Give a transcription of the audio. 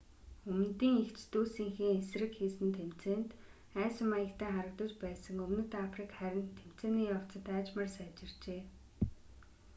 өмнөдийн эгч дүүсийнхээ эсрэг хийсэн тэмцээнд айсан маягтай харагдаж байсан өмнөд африк харин тэмцээний явцад аажмаар сайжирчээ